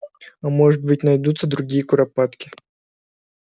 а может быть найдутся другие куропатки